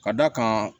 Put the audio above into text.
Ka d'a kan